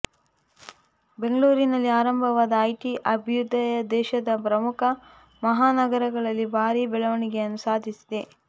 ಬೆಂಗಳೂರಿನಲ್ಲಿ ಆರಂಭವಾದ ಐಟಿ ಅಭ್ಯುದಯ ದೇಶದ ಪ್ರಮುಖ ಮಹಾ ನಗರಗಳಲ್ಲಿ ಭಾರಿ ಬೆಳವಣಿಗೆ ಸಾಧಿಸಿದೆ